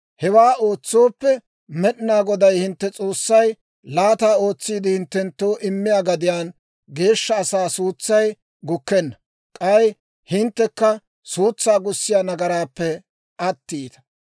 Hewaa ootsooppe, Med'inaa Goday hintte S'oossay laata ootsiide hinttenttoo immiyaa gadiyaan geeshsha asaa suutsay gukkenna; k'ay hinttekka suutsaa gussiyaa nagaraappe attiita.